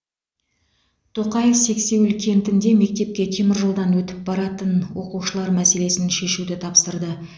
тоқаев сексеуіл кентінде мектепке теміржолдан өтіп баратын оқушылар мәселесін шешуді тапсырды